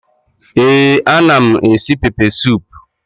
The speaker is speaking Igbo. Ee anam esi pepe sup